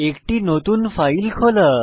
একটি নতুন ফাইল খোলা